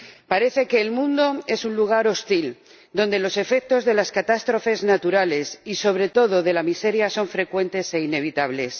Parece que el mundo es un lugar hostil, donde los efectos de las catástrofes naturales y, sobre todo, de la miseria son frecuentes e inevitables.